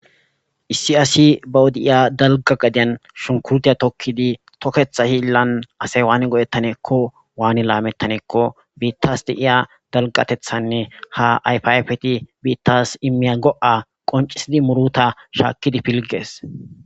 issi asi ba de'iya dalga gadeyan shunikuritiya tokkidi toketha hillan asay waani go'ettanaakko waani laamettanaanko biittas de'iya dalgatethanne ha ayifa ayifeta biittas immiya go'a qoncisidi muruta shaakkidi piligees